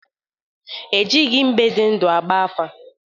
Ejighi mbe dị ndụ agba afa.